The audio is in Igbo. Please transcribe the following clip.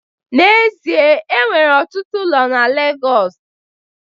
N'ezie, e nwere ọtụtụ ụlọ na Legọs